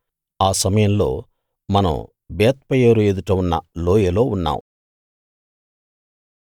ఆ సమయంలో మనం బేత్పయోరు ఎదుట ఉన్న లోయలో ఉన్నాం